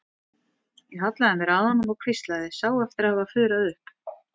Ég hallaði mér að honum og hvíslaði, sá eftir að hafa fuðrað upp.